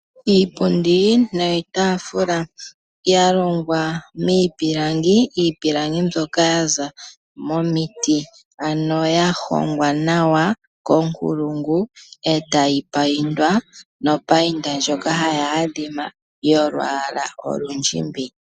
Iipundi noshitaafula - ya longwa miipilangi. Iipilangi mbyoka ya za momiti, ano ya hongwa nawa konkulungu, e tayi paindwa nopainda ndjoka hayi adhima yolwaala olundjimbi.